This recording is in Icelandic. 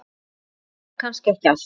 En kannski ekki allt.